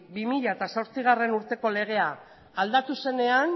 bi mila zortzigarrena urteko legea aldatu zenean